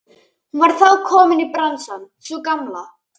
Hún var þá komin í bransann sú gamla!